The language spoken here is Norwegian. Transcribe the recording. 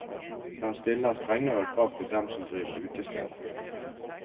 Den stiller strengere krav til dem som driver utesteder.